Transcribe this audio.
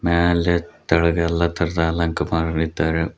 ಮ್ಯಾಲೆ ತೆಳಗೆಲ್ಲ ಎಲ್ಲ ತರಹದ ಅಲಂಕಾರ ಮಾಡಿದ್ದಾರೆ.